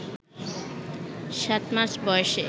সাত মাস বয়সে